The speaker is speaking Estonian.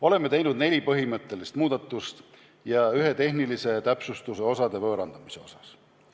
Oleme teinud neli põhimõtteliselt muudatust ja ühe tehnilise täpsustuse osade võõrandamise osas.